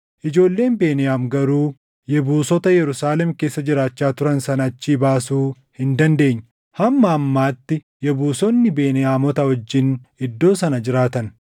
Ijoolleen Beniyaam garuu Yebuusota Yerusaalem keessa jiraachaa turan sana achii baasuu hin dandeenye; hamma ammaatti Yebuusonni Beniyaamota wajjin iddoo sana jiraatan.